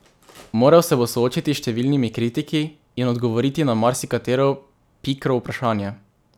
Moral se bo soočiti s številnimi kritiki in odgovoriti na marsikatero pikro vprašanje.